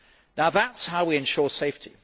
Now that is how we ensure safety.